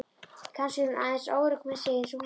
Kannski er hún aðeins óörugg með sig eins og þú.